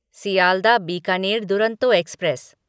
Sealdah Bikaner Duronto express